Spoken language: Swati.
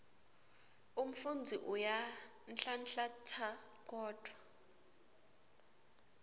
umfundzi uyanhlanhlatsa kodvwa